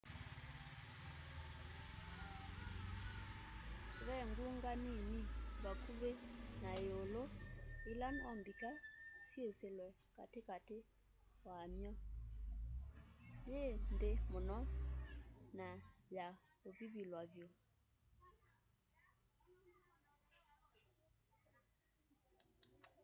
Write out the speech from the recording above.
ve ngunga nini vakuvĩ na ĩũlũ ĩla no mbika yĩsĩlwe katĩ katĩ wamy'o yĩ nthĩ mũno na ya ũvivilwa vyũ